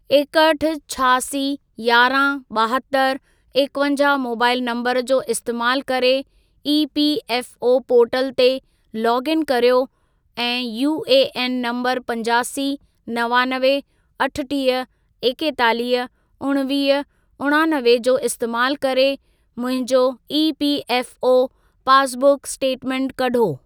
एकहठि, छहासी, यारहं, ॿाहतरि, एकवंजाहु मोबाइल नंबर जो इस्तेमालु करे ईपीएफओ पोर्टल ते लोग इन कर्यो ऐं यूएएन नंबर पंजासी, नवानवे, अठटीह, एकेतालीह, उणिवीह, उणानवे जो इस्तेमालु करे मुंहिंजो ईपीएफओ पासबुक स्टेटमेंट कढो।